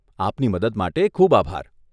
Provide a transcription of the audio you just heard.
આપની મદદ માટે ખૂબ આભાર.